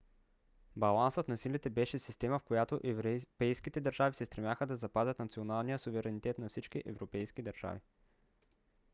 балансът на силите беше система в която европейските държави се стремяха да запазят националния суверенитет на всички европейски държави